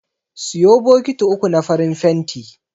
Siyo bokiti uku na farin fenti.